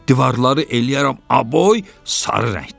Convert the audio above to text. Divarları eləyərəm aboy, sarı rəngdə.